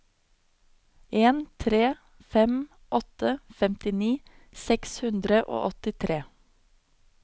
en tre fem åtte femtini seks hundre og åttitre